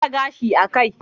Mara gashi a kai